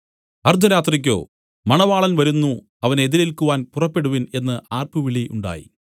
അർദ്ധരാത്രിക്കോ മണവാളൻ വരുന്നു അവനെ എതിരേൽക്കുവാൻ പുറപ്പെടുവിൻ എന്നു ആർപ്പുവിളി ഉണ്ടായി